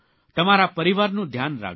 તમારા પરિવારનું ધ્યાન રાખજો